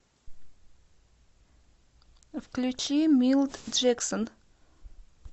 включи милт джексон